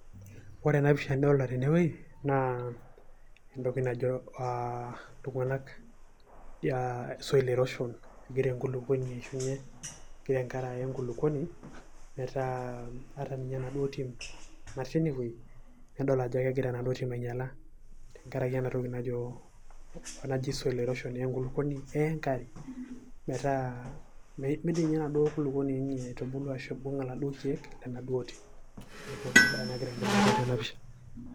Ore ena pisha nidolta tenewei, naa entoki najo iltung'anak soil erosion. Egira enkulukuoni aishunye, egira enkare aya enkulukuoni, metaa ata ninye enaduo tim natii enewei. Nidol ajo egira enaduo tim ainyala, tenkaraki enatoki najo naji soil erosion. Enkulukuoni eya enkare, metaa midim inye enaduo kulukuoni aitubulu ashu aibung' iladuo keek lenaduo tim. Neeku ena bae nagira aendelea tiatua ena pisha.